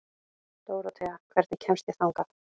Dórothea, hvernig kemst ég þangað?